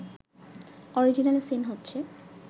original scene হচ্ছে